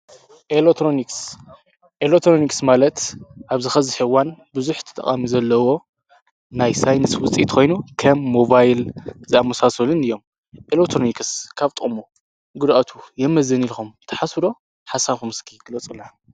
ንኤሎትሮንክስ ማለት ኣብ ዝኸ ዝሕዋን ብዙኅቲ ተቓሚ ዘለዎ ናይ ሳይንስ ውጢትኮይኑ ከም ሞባይል ዝኣሙሳሶልን እዮም ኤሎትሮንክስ ካብ ጦሙ ግድኣቱ የመዘኒ ኢልኹም ተሓሥዶ ሓሳኹምስኪ ግለጽላ።